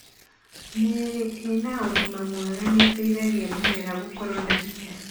Mĩri ĩna ũgima mwega nĩ ĩteithagia mĩmera gũkorwo na hinya.